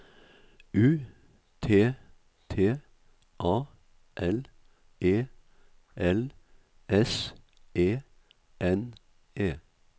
U T T A L E L S E N E